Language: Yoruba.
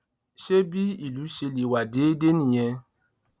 ṣé bí ìlú ṣe lè wà déédéé nìyẹn